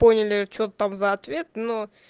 поняли что там за ответ но